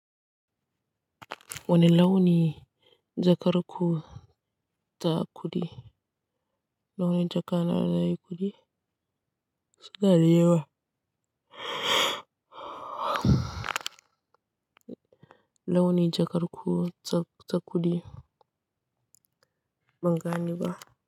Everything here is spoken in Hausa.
Wani launi jakar ku ta kuɗi, launin jaka na na kuɗi? Suna da yawa Launi jakar ku ta kuɗi? Ban gane ba.